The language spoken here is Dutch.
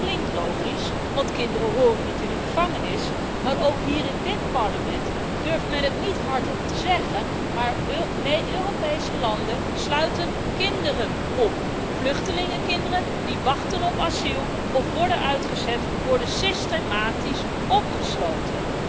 Dat klinkt logisch, want kinderen horen niet in een gevangenis, maar ook hier in dit Parlement durft men het niet hardop te zeggen Europese landen sluiten kinderen op. Vluchtelingenkinderen die wachten op asiel of worden uitgezet, worden systematisch opgesloten.